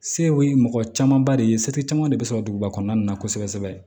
Sew ye mɔgɔ camanba de ye seti caman de sɔrɔ duguba kɔnɔna na kosɛbɛ kosɛbɛ